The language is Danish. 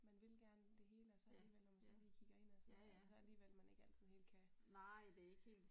Men vil gerne det hele og så alligevel når man så lige kigger indad så så det alligevel ikke altid man lige kan